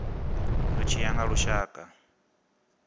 zwi tshi ya nga lushaka